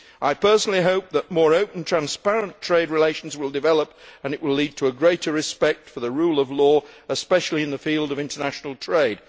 I hope that more open, transparent trade relations will develop, and that these will lead to a greater respect for the rule of law, especially in the field of international trade.